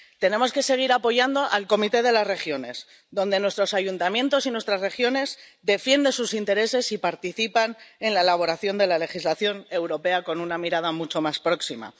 Tenemos que seguir apoyando al Comité de las Regiones, donde nuestros ayuntamientos y nuestras regiones defienden sus intereses y participan en la elaboración de la legislación europea con una mirada mucho más próxima.